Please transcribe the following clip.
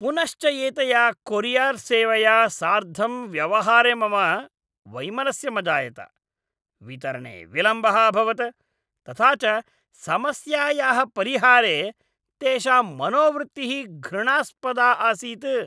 पुनश्च एतया कोरियर्सेवया सार्धं व्यवहारे मम वैमनस्यं अजायत, वितरणे विलम्बः अभवत्, तथा च समस्यायाः परिहारे तेषां मनोवृत्तिः घृणास्पदा आसीत्।